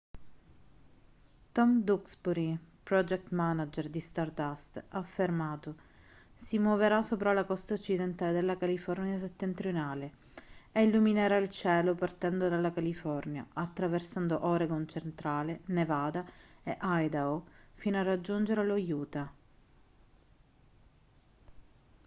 tom duxbury project manager di stardust ha affermato si muoverà sopra la costa occidentale della california settentrionale e illuminerà il cielo partendo dalla california attraversando oregon centrale nevada e idaho fino a raggiungere lo utah